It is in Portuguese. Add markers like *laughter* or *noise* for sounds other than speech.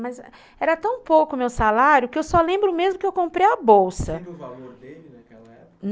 Mas era tão pouco o meu salário que eu só lembro mesmo que eu comprei a bolsa. *unintelligible*